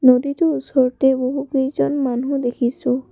নদীটোৰ ওচৰতে বহুকেইজন মানুহ দেখিছোঁ।